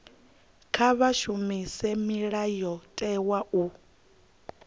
kha vha shumise mulayotewa u